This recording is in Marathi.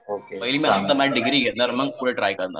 पहिली मी डिग्री घेणार मग पुढे ट्राय करणार